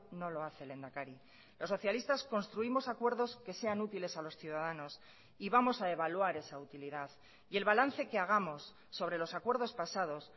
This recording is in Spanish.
no lo hace lehendakari los socialistas construimos acuerdos que sean útiles a los ciudadanos y vamos a evaluar esa utilidad y el balance que hagamos sobre los acuerdos pasados